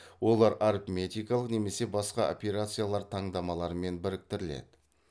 олар арифметикалық немесе басқа операциялар таңдамаларымен біріктіріледі